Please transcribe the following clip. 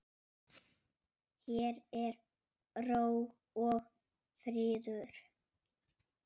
Hér er ró og friður.